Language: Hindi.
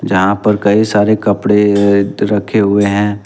जहां पर कई सारे कपड़े रखे हुए हैं।